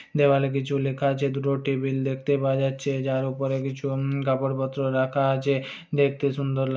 দেওয়ালে কিছু লেখা আছে দুটো টেবিল দেখতে পাওয়া যাচ্ছে যার ওপরে কিছু উমম কাপড় পত্র রাখা আছে দেখেত সুন্দর লাগ --